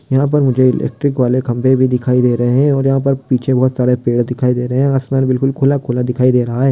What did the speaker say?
यहां पर मुझे इलेक्ट्रिक वाले खंबे भी दिखाई दे रहे है और यहां पर पीछे बहुत सारे पेड़ भी दिखाई दे रहे है आसमान बहुत खुला-खुला दिखाई दे रहा है।